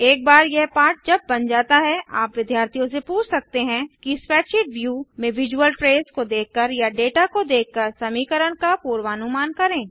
एक बार यह पाठ जब बन जाता है आप विद्यार्थियों से पूछ सकते हैं कि स्प्रैडशीट व्यू में विजुअल ट्रेस को देखकर या डेटा को देखकर समीकरण का पूर्वानुमान करें